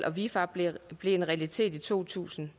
og vifab blev en realitet i to tusind